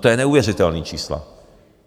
To jsou neuvěřitelná čísla!